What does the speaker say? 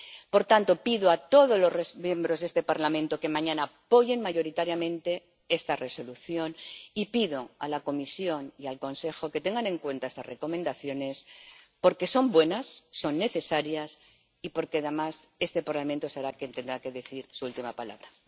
Por tanto, pido a todos los miembros de este Parlamento que mañana apoyen mayoritariamente este informe y pido a la Comisión y al Consejo que tengan en cuenta estas recomendaciones porque son buenas, son necesarias y porque, además, este Parlamento será quien tenga que decir su última palabra.